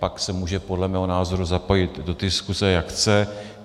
Pak se může podle mého názoru zapojit do diskuse, jak chce.